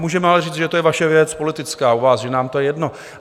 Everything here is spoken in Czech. Můžeme ale říci, že to je vaše věc politická, u vás, že nám to je jedno.